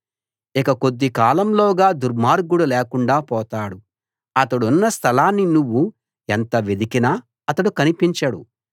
ఇక కొద్ది కాలంలోగా దుర్మార్గుడు లేకుండా పోతాడు అతడున్న స్థలాన్ని నువ్వు ఎంత వెదికినా అతడు కనిపించడు